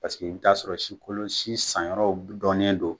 Paseke i bi taa sɔrɔ sikolon sin sanyɔrɔw donnen don